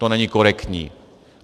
To není korektní.